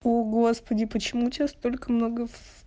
о господи почему у тебя столько много